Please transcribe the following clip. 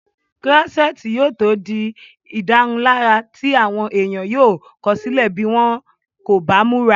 kúrọ́sẹ́ẹ̀tì yóò tó di ìdárunlárà tí àwọn èèyàn yóò kọ̀sílẹ̀ bí wọ́n kò bá múra